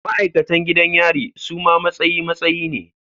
Ma'aikatan gidan yari suma matsayi matsayi ne